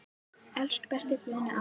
Elsku besti Guðni afi minn.